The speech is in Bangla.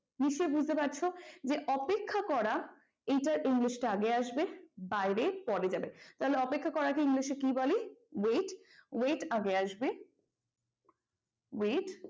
নিশ্চয়ই বুঝতে পারছ যে অপেক্ষা করা এইটার english টা আগে আসবে বাইরে পরে যাবে তাহলে অপেক্ষা করা কে english এ কি বলে wait wait আগে আসবে wait